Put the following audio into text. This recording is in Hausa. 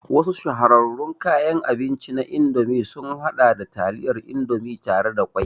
Wasu shahararrun kayan abinci na Indomie sun haɗa da taliyar Indomie tare da ƙwai